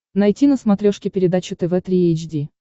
найти на смотрешке передачу тв три эйч ди